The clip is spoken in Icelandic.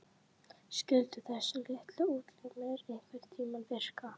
Skyldu þessir litlu útlimir einhverntíma virka?